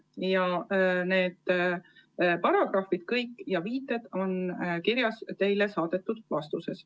Kõik need paragrahvid ja viited on kirjas teile saadetud vastuses.